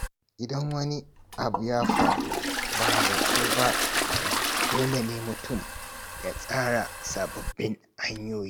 Idan wani abu ya faru ba zato ba tsammani, dole ne mutum ya tsara sababbin hanyoyi.